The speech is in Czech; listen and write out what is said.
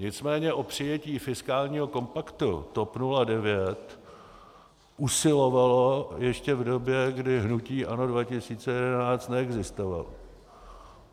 Nicméně o přijetí fiskálního kompaktu TOP 09 usilovalo ještě v době, kdy hnutí ANO 2011 neexistovalo.